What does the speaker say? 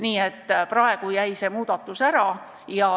Nii et praegu jäi see muudatus ära.